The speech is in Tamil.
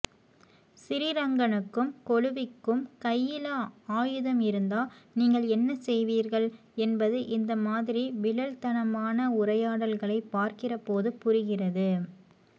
சிறிரங்கனுக்கும் கொழுவிக்கும் கையில அயுதம் இருந்தா நீங்கள் என்ன செய்வீர்கள் என்பது இந்த மாதிரி விழல்த்தனமான உரையாடல்களைப் பாக்கிறபோது புரிகிறது